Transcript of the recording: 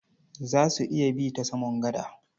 Za su iya bi ta saman gada?